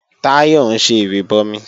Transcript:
Táyọ̀ ń ṣe ìrìbọmi